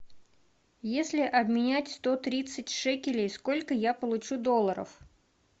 если обменять сто тридцать шекелей сколько я получу долларов